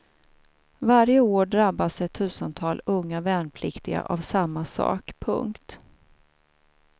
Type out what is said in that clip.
Varje år drabbas ett tusental unga värnpliktiga av samma sak. punkt